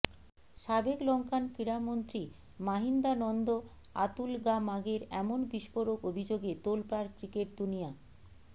সাবেক লঙ্কান ক্রীড়ামন্ত্রী মাহিন্দানন্দ আতুলগামাগের এমন বিস্ফোরক অভিযোগে তোলপাড় ক্রিকেট দুনিয়া